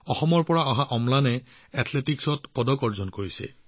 অসমৰ বাসিন্দা অম্লানে এথলেটিকছত পদক লাভ কৰিছে